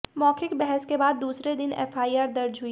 मौखिक बहस के बाद दूसरे दिन एफआईआर दर्ज हुई